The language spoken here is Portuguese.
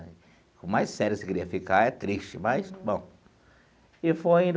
Com mais sério você queria ficar, é triste, mas, bom e foi.